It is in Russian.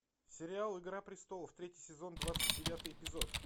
сериал игра престолов третий сезон двадцать девятый эпизод